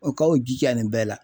O ka u jija nin bɛɛ la.